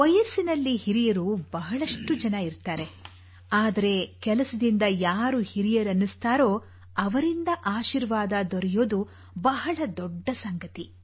ವಯಸ್ಸಿನಲ್ಲಿ ಹಿರಿಯರು ಬಹಳಷ್ಟು ಜನ ಇರುತ್ತಾರೆ ಆದರೆ ಕೆಲಸದಿಂದ ಯಾರು ಹಿರಿಯರೆನಿಸುತ್ತಾರೋ ಅವರಿಂದ ಆಶೀರ್ವಾದ ದೊರೆಯುವುದು ಬಹಳ ದೊಡ್ಡ ಸಂಗತಿ